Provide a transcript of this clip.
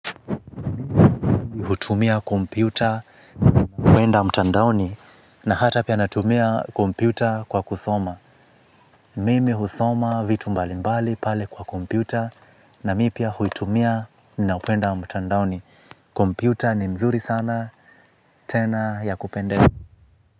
Hutumia kompyuta kuenda mtandaoni na hata pia natumia kompyuta kwa kusoma mimi husoma vitu mbali mbali pale kwa kompyuta na mi pia hutumia na kuenda mtandaoni kompyuta ni mzuri sana tena ya kupende.